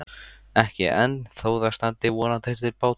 Ekki enn, þó það standi vonandi til bóta.